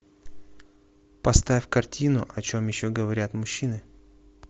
поставь картину о чем еще говорят мужчины